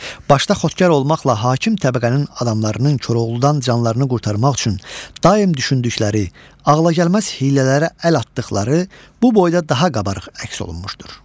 Başda xotkar olmaqla hakim təbəqənin adamlarının Koroğludan canlarını qurtarmaq üçün daim düşündükləri, ağlagəlməz hiylələrə əl atdıqları bu boyda daha qabarıq əks olunmuşdur.